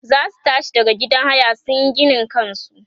zasu tashi daga gidan haya sunyi ginin kansu